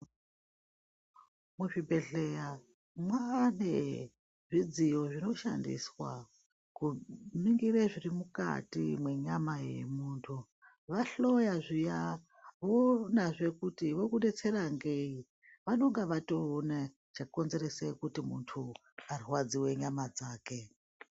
Muzvibhedhleya mwane zvidziyo zvinoshandiswa kuningire zviri mukati mwenyama yemuntu. Vahloya zviya voonazve kuti vokubetsera ngei vanonga vatoona chakonzerese kuti muntu arwadzive nyama dzake.